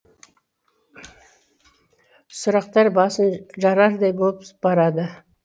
сұрақтар басын жарардай боп барады